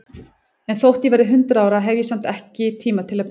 En þótt ég verði hundrað ára, hef ég samt ekki tíma til að bíða.